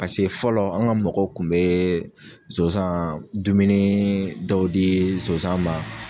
Pase fɔlɔ an ŋa mɔgɔw kun bee sonsaan dumunii dɔw dii sonsan ma